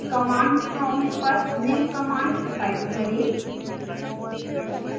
command prompt पर निम्न command type करें